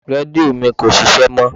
Rédíò mi kò ṣíṣe mó.